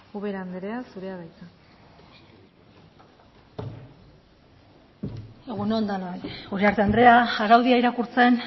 ubera andrea zurea da hitza egun on denoi uriarte andrea araudia irakurtzen